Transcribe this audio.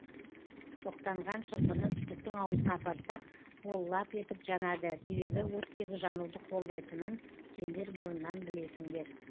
шоқтанған шырпыны түтіктің аузына апарсақ ол лап етіп жанады себебі оттегі жануды қолдайтынын сендер бұрыннан білесіңдер